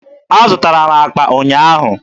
Azụtara m akpa ụnyaahụ.